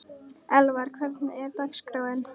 Elvar, hvernig er dagskráin?